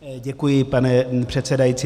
Děkuji, pane předsedající.